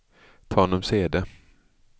Tanumshede